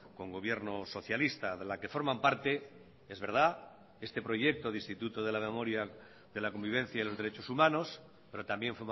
con gobierno socialista de la que forman parte es verdad este proyecto de instituto de la memoria de la convivencia y los derechos humanos pero también